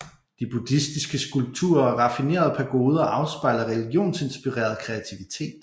De buddhistiske skulpturer og raffinerede pagoder afspejler religionsinspireret kreativitet